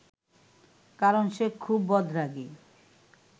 কারণ সে খুব বদরাগী